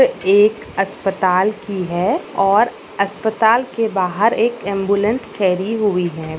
एक अस्पताल की है और अस्पताल के बाहर एक एम्ब्युलेन्स ठहरी हुई है।